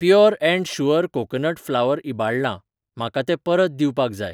Pure and sure coconut flour इबाडलां, म्हाका तें परत दिवपाक जाय.